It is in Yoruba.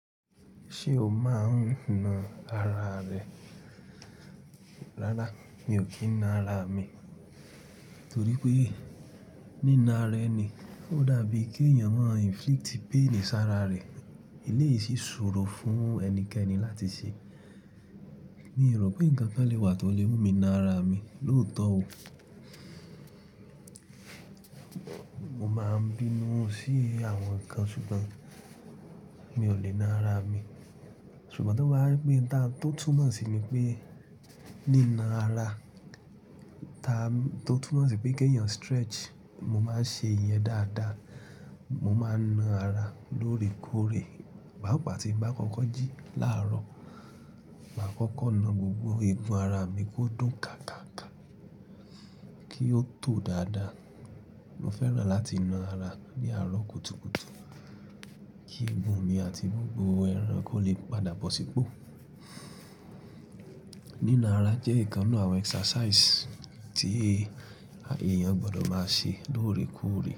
Ṣé o máa ń na ara rẹ? Rárá, mi ò kí ń na ara mi, torí pé nína ara ẹni ó dàbí kí èèyàn máa inflict pain sára rẹ̀. Elé yìí ṣòro fún ẹnikẹ́ni láti ṣe. Mi rò pé nǹkan kan lè wà tó lè mú mi na ara mi, lóòótọ́ o. Mo máa ń bínú sí àwọn nǹkan, ṣùgbọ́n mi ò lè na ara mi. Ṣùgbọ́n tó bá wá jẹpé n ta tó túmọ̀ sí ni pé nína ara, ìta tó túmọ̀ sí pé kí èèyàn stretch, mo máa ṣe ìyẹn dáadáa. Mo máa na ara lóore kóòré. Páapa tí ń bá kọ́kọ́ jí láàárọ̀, màá kọ́kọ́ na gbogbo egun ara mi kó dùn ká kàákàá kí ó tò dáadáa. Mo fẹ́ràn láti na ara ní àárọ̀ kùtùkùtù kí egun mi àti gbogbo ẹran kó lè padà bọ̀ sípò. Nína ara jẹ́ ìkan náà àwọn exercise tí èèyàn gbọdọ̀ máa ṣe lóore kóòré.